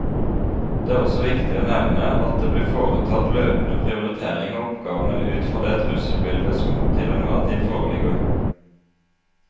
Det er også viktig å nevne at det blir foretatt løpende prioritering av oppgavene ut fra det trusselbildet som til enhver tid foreligger.